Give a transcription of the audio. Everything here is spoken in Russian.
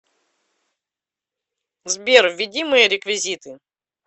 сбер введи мои реквизиты